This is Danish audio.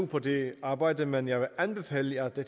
på dette arbejde men jeg vil anbefale at det